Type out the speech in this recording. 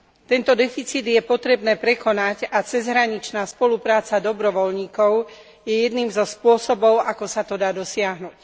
Tento deficit je potrebné prekonať a cezhraničná spolupráca dobrovoľníkov je jedným zo spôsobov ako sa to dá dosiahnuť.